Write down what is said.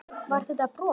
Var þetta brot?